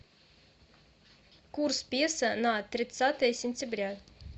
курс песо на тридцатое сентября